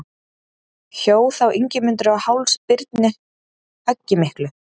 Hjó þá Ingimundur á háls Birni höggi miklu.